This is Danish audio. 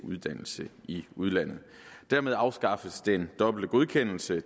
uddannelse i udlandet dermed afskaffes den dobbelte godkendelse af